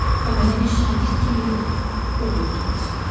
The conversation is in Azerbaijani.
O mənə bir şagird kimi yox, oğul kimi baxırdı.